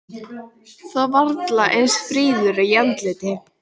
Þó varla eins fríður í andliti.